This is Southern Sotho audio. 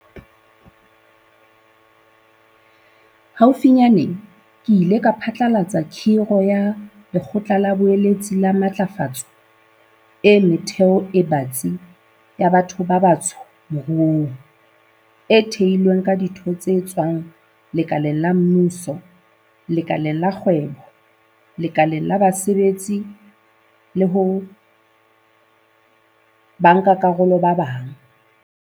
Haufinyane, ke ile ka phatlalatsa kgiro ya Lekgotla la Boeletsi la Matlafatso e Metheo e Batsi ya Batho ba Batsho Moruong, e thehilweng ka ditho tse tswang lekaleng la mmuso, lekaleng la kgwebo, lekaleng la basebetsi le ho bankakarolo ba bang.